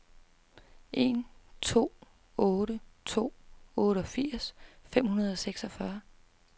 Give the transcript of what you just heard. en to otte to otteogfirs fem hundrede og seksogfyrre